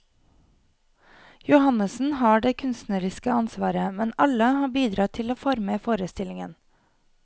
Johannessen har det kunstneriske ansvaret, men alle har bidratt til å forme forestillingen.